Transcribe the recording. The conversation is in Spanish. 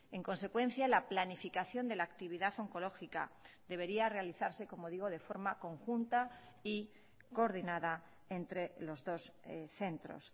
en consecuencia la planificación de la actividad oncológica debería realizarse como digo de forma conjunta y coordinada entre los dos centros